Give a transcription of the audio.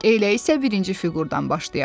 Elə isə birinci fiqurdan başlayaq.